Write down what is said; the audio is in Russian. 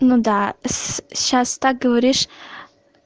ну да сейчас так говоришь